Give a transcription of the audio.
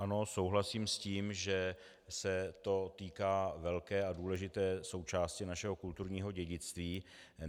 Ano, souhlasím s tím, že se to týká velké a důležité součásti našeho kulturního dědictví.